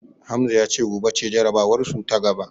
Hamza ya ce gobe ce jarabawarsu ta gaba.